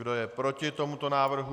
Kdo je proti tomuto návrhu?